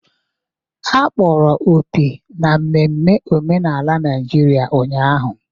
Akpọrọ opi na mmemme omenala Naijiria ụnyahụ.